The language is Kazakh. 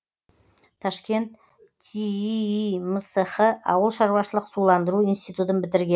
ташкент тииимсх ауыл шаруашылық суландыру институтын бітірген